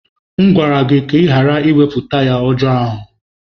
M gwara gị ka ị ghara iwepụ taya ọjọọ ahụ!